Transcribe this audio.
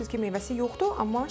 Görürsüz ki, meyvəsi yoxdur,